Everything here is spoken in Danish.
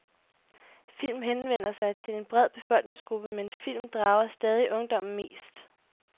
Film henvender sig til en bred befolkningsgruppe, men film drager stadig ungdommen mest.